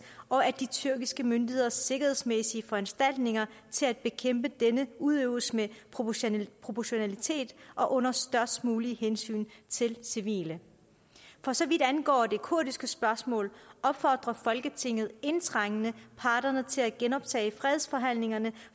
og at de tyrkiske myndigheders sikkerhedsmæssige foranstaltninger til at bekæmpe denne udøves med proportionalitet proportionalitet og under størst mulige hensyn til civile for så vidt angår det kurdiske spørgsmål opfordrer folketinget indtrængende parterne til at genoptage fredsforhandlingerne